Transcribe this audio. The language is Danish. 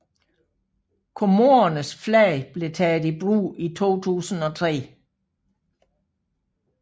Comorernes flag blev taget i brug 2003